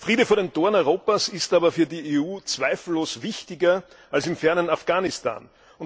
Friede vor den Toren Europas ist aber für die EU zweifellos wichtiger als im fernen Afghanistan.